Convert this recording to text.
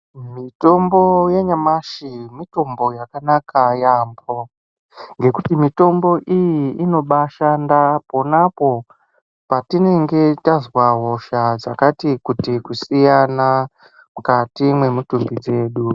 Mitombo yanyamashi mitombo yakanaka yaambo ngekuti mitombo iyi inobashanda ponapo patinenge tazwa hosha dzakati kuti kusiyana mukati memitumbi dzedu.